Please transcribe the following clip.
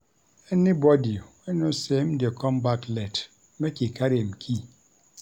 Anybodi wey know sey im dey come back late, make e carry im key.